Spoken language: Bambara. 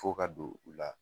F'o ka don o la